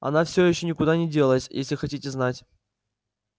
она все ещё никуда не делась если хотите знать